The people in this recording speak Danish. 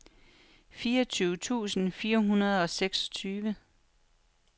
fireogtyve tusind fire hundrede og seksogtyve